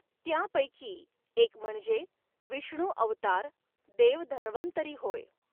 त्यांपैकी एक म्हणजे विष्णू अवतार देव धन्व॔तरी होय.